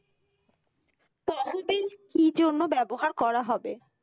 কি জন্য ব্যবহার করা হবে?